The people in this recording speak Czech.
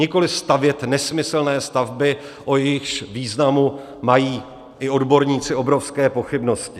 Nikoli stavět nesmyslné stavby, o jejichž významu mají i odborníci obrovské pochybnosti.